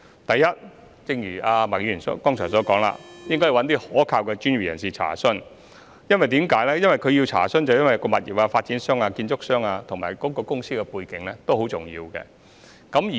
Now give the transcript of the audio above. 第一，正如麥議員剛才所說，市民應向一些可靠的專業人士查詢，因為物業發展商、建築商及公司的背景都十分重要。